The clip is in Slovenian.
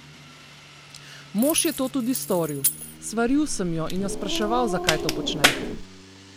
Mož je to tudi storil: "Svaril sem jo in jo spraševal, zakaj to počne.